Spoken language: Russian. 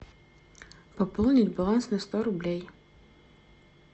пополнить баланс на сто рублей